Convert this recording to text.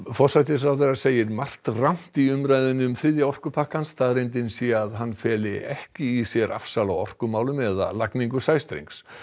forsætisráðherra segir margt rangt í umræðunni um þriðja orkupakkann staðreyndin sé að hann feli ekki í sér afsal á orkumálum eða lagningu sæstrengs